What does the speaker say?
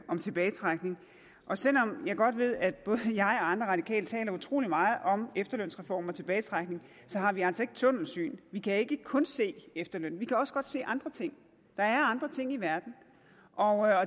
om tilbagetrækning selv om jeg godt ved at både jeg og andre radikale taler utrolig meget om efterlønsreformen og tilbagetrækning har vi altså ikke tunnelsyn vi kan ikke kun se efterlønnen vi kan også godt se andre ting der er andre ting i verden og